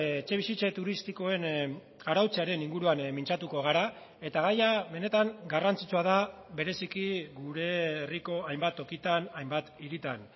etxebizitza turistikoen arautzearen inguruan mintzatuko gara eta gaia benetan garrantzitsua da bereziki gure herriko hainbat tokitan hainbat hiritan